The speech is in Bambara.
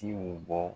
Jiw bɔ